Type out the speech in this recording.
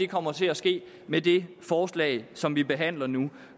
kommer til at ske med det forslag som vi behandler nu